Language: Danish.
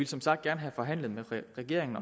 som sagt gerne have forhandlet med regeringen